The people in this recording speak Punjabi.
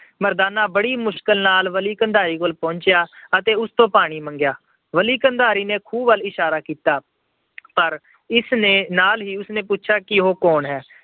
ਮਰਦਾਨਾ ਬੜੀ ਮੁਸ਼ਕਲ ਨਾਲ ਬਲੀ ਕੰਧਾਰੀ ਕੋਲ ਪਹੁੰਚਿਆ ਅਤੇ ਉਸ ਤੋਂ ਪਾਣੀ ਮੰਗਿਆ। ਬਲੀ ਕੰਧਾਰੀ ਨੇ ਖੂਹ ਵੱਲ ਇਸ਼ਾਰਾ ਕੀਤਾ ਪਰ ਇਸ ਦੇ ਨਾਲ ਹੀ ਪੁੱਛਿਆ ਕਿ ਉਹ ਕੌਣ ਹੈ।